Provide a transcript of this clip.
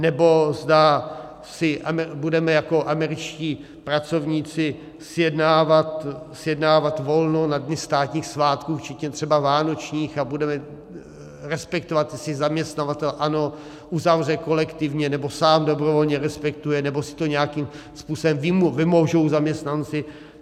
Nebo zda si budeme jako američtí pracovníci sjednávat volno na dny státních svátků včetně třeba vánočních a budeme respektovat, jestli zaměstnavatel, ano, uzavře kolektivně nebo sám dobrovolně respektuje nebo si to nějakým způsobem vymůžou zaměstnanci?